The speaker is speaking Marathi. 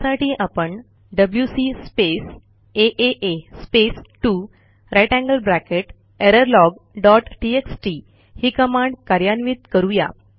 त्यासाठी आपणwc space a space 2 greater than sign error log dot TXT ही कमांड कार्यान्वित करू या